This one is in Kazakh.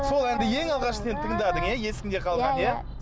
сол әнді ең алғаш сен тыңдадың иә есіңде қалды иә иә